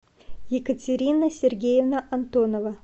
екатерина сергеевна антонова